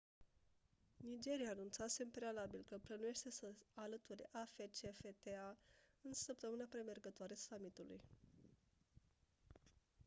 nigeria anunțase în prealabil că plănuiește să se alăture afcfta în săptămâna premergătoare summitului